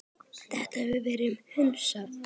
Þetta hefur verið hunsað.